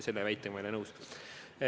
Selle väitega ma ei ole nõus.